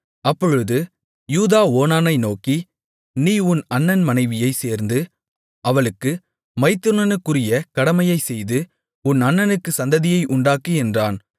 அப்பொழுது யூதா ஓனானை நோக்கி நீ உன் அண்ணன் மனைவியைச் சேர்ந்து அவளுக்கு மைத்துனனுக்குரிய கடமையைச் செய்து உன் அண்ணனுக்கு சந்ததியை உண்டாக்கு என்றான்